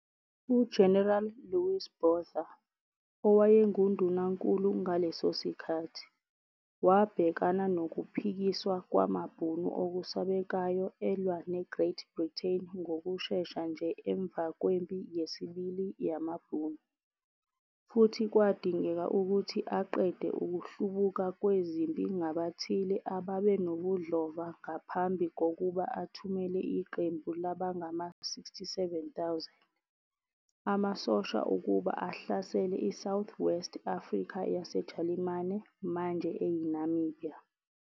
UGeneral Louis Botha, owayengundunankulu ngaleso sikhathi, wabhekana nokuphikiswa kwamaBhunu okusabekayo elwa neGreat Britain ngokushesha nje emva kweMpi Yesibili Yamabhunu, futhi kwadingeka ukuthi aqede ukuhlubuka kwezempi ngabathile ababenobudlova ngaphambi kokuba athumele iqembu labangama-67,000. amasosha ukuba ahlasele iSouth West Africa yaseJalimane, manje eyiNamibia.